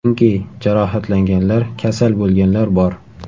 Chunki jarohatlanganlar, kasal bo‘lganlar bor.